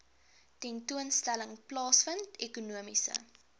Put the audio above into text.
tentoonstelling plaasvind ekonomiese